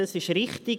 das ist richtig.